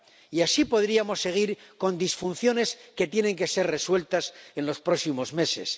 Y así podríamos seguir con disfunciones que tienen que ser resueltas en los próximos meses.